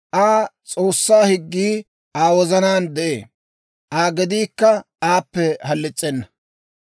Aa S'oossaa higgii Aa wozanaan de'ee; Aa gediikka aappe halis's'ena.